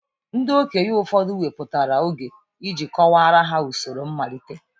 Ndị okenye obodo wepụtara oge iji kọwaara ha usoro mmalite.